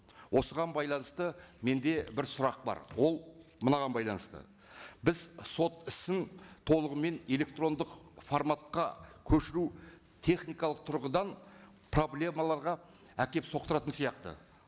осыған байланысты менде бір сұрақ бар ол мынаған байланысты біз сот ісін толығымен электрондық форматқа көшіру техникалық тұрғыдан проблемаларға әкеліп соқтыратын сияқты